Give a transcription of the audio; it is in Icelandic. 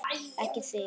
Ekki þig!